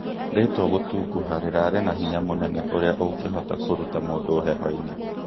Ritwa gũtungũha rĩrarĩ na hinya mũnene ũria ũngĩhota kũrũta mũndũ heho-inĩ